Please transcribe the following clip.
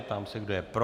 Ptám se, kdo je pro.